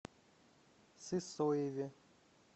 сысоеве